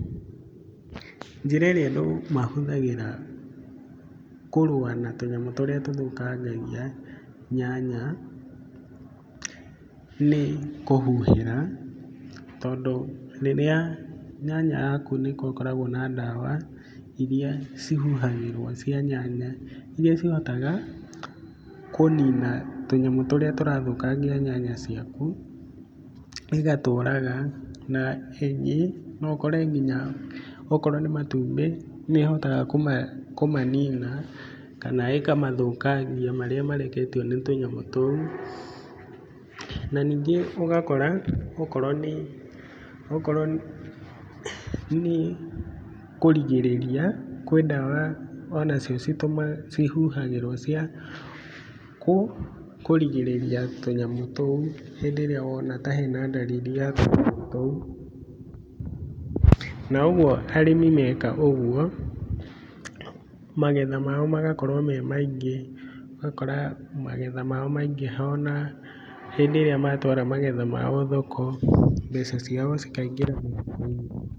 Njĩra ĩrĩa andũ mahũthagĩra kũrũa na tũnyamũ tũrĩa tũthũkangagia nyanya nĩ kũhuhĩra. Tondũ rĩrĩa nyanya yaku nĩ gũkoragwo na ndawa irĩa ihuhagĩrwo cia nyanya irĩa cihotaga kũnina tũnyamũ tũrĩa tũrathũkangia nyanya ciaku igatũraga, na ĩngĩ no ũkore nginya okorwo nĩ matumbĩ no ĩhote kũmanina kana ĩkamathũkangia marĩa mareketio nĩ tũnyamũ tũu. Na ningĩ ũgakora okorwo nĩ kũrigĩrĩria kwĩ ndawa onacio cihuhagĩrwo cia kũgirĩrĩria tũnyamũ tũu hĩndĩ ĩrĩa wona ta he na dalili ya tũnyamũ tũu. Na ũguo, arĩmi meka ũguo magetha mao magakorwo me maingĩ. Ũgakora magetha mao maingĩha ona hĩndĩ ĩrĩa matwara magetha mao thoko, mbeca ciao cikaingĩra mũhuko-inĩ.